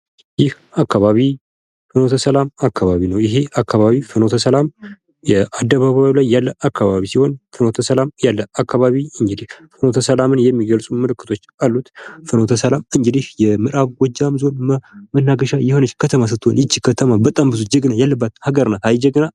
ይህ አካባቢ ፍኖተሰላም አካባቢ ነው ይሄ ፍኖተሰላም የአደባባዩ ላይ እያለ አካባቢ ሲሆን ፉኖተ ሰላም ያለ አካባቢ እንግዲህ ፍኖተ ሰላምን የሚገልፁ ምልክቶች አሉት :: ፍኖተ ሰላም እንግዲህ የምዕራብ ጎጃም ዞን መናገሻ የሆነች ከተማ ስትሆን የች ከተማ በጣም ብዙ ጀግኖች ያሉባት ሀገር ናት ::አይ ጀግና!!